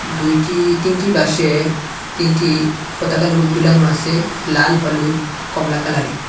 দুইটি তিনটি বাঁশে তিনটি পতাকা লোগো দুলানো আছে লাল হলুদ কমলা কালারের।